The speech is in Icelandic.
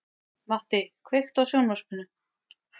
Matti, kveiktu á sjónvarpinu.